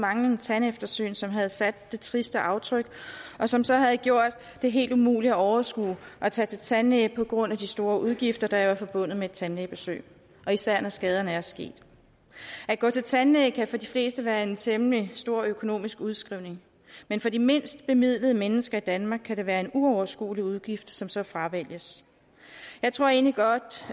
manglende tandeftersyn som havde sat sit triste aftryk og som så havde gjort det helt umuligt at overskue at tage til tandlæge på grund af de store udgifter der jo er forbundet med et tandlægebesøg især når skaderne er sket at gå til tandlæge kan for de fleste være en temmelig stor økonomisk udskrivning men for de mindst bemidlede mennesker i danmark kan det være en uoverskuelig udgift som så fravælges jeg tror egentlig godt